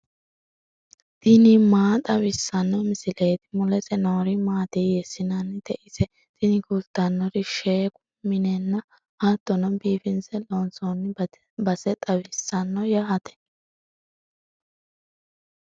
tini maa xawissanno misileeti ? mulese noori maati ? hiissinannite ise ? tini kultannori sheekku minenna hattono biifinse loonsoonni base xawisanno yaate.